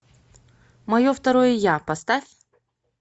мое второе я поставь